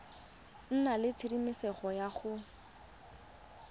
nna le tshedimosetso ya go